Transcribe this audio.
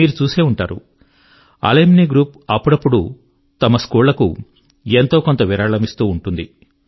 మీరు చూసే ఉంటారు అలుమ్ని గ్రూప్ అప్పుడప్పుడూ తమ స్కూళ్ళ కు ఎంతో కొంత విరాళమిస్తూ ఉంటుంది